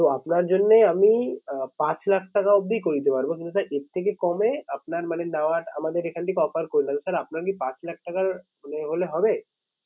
তো আপনার জন্যে আমি আঁ পাঁচ লাখ টাকা অবধি করে দিতে পারবো। কিন্তু sir এর থেকে কমে আপনার মানে নেওয়ার আমাদের এখন থেকে offer sir আপনার কি পাঁচ লাখ টাকা মানে হলে হবে?